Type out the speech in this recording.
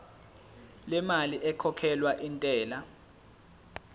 lemali ekhokhelwa intela